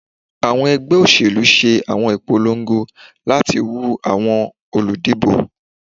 Awọn ẹgbẹ oselu ṣe awọn ipolongo lati woo awọn oludibo.